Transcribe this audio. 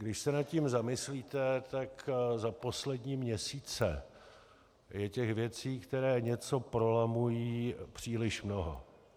Když se nad tím zamyslíte, tak za poslední měsíce je těch věcí, které něco prolamují, příliš mnoho.